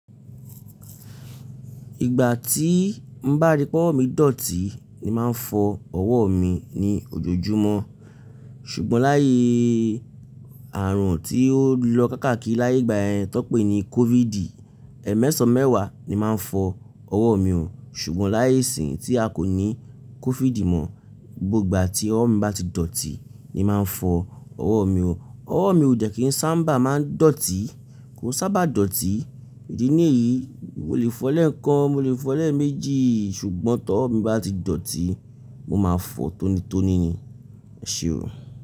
Ìgbà tí ń bá ri pé ọwọ́ mi dọ̀tí ni màá fọ ọwọ́ mi ní ojoojúmọ́. Ṣùgbọ́n láyé àrùn tí ó lọ káàkiri láyé ìgbà yẹn tó pé ní COVID, ẹmẹsan mẹ́wàá ni màá fọ ọwọ́ mi hùn. Ṣùgbọ́n láyé ìsìn tí a kò ní COVID mọ, gbogbo ìgbà tí ọwọ́ mi bá ti dọ̀tí ni màá fọ ọwọ́ mi hùn. Ọwọ́ mi ò dẹ́ kí ń sábà máa ń dọ̀tí, kò sábà dọ̀tí. Ìdí nìyí, mo lè fọ lẹ́ǹkan, mo lè fọ lẹ́eméjì, ṣùgbọ́n t'ọwọ́ mi bá ti dọ̀tí, mo máa fọ tónítóní ni. Ẹ ṣe ò.